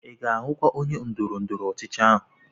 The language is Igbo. I ga-ahụ onye ndọrọ ndọrọ ọchịchị ahụ?